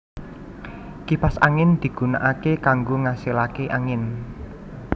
Kipas angin digunakake kanggo ngasilake angin